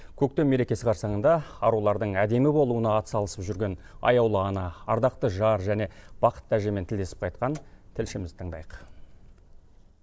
көктем мерекесі қарсаңында арулардың әдемі болуына атсалысып жүрген аяулы ана ардақты жар және бақытты әжемен кездесіп қайтқан тілшімізді тыңдайық